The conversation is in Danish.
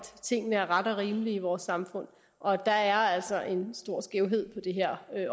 tingene er rette og rimelige i vores samfund og der er altså en stor skævhed på det her